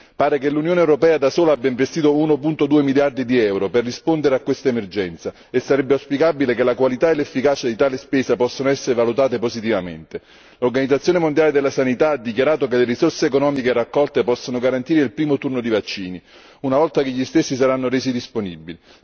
Pare che l'Unione europea da sola abbia investito 1,2 miliardi di euro per rispondere a questa emergenza e sarebbe auspicabile che la qualità e l'efficacia di tale spesa possano essere valutate positivamente. L'Organizzazione mondiale della sanità ha dichiarato che le risorse economiche raccolte possono garantire il primo turno di vaccini, una volta che gli stessi saranno resi disponibili.